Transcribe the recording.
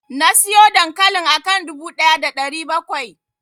Nasiyo dankalin akan dubu ɗaya da ɗari bakwai.